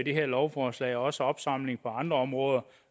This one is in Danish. det her lovforslag jo også opsamling på andre områder